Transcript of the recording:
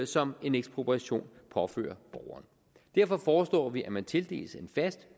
som en ekspropriation påfører borgeren derfor foreslår vi at man tildeles en fast